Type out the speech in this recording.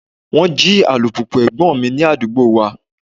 Wọ́n jí alùpùpù ẹ̀gbọ́n mi ní àdúgbò wa.